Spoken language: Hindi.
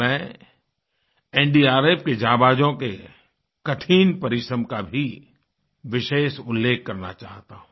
मैं एनडीआरएफ के जांबाजों के कठिन परिश्रम का भी विशेष उल्लेख करना चाहता हूँ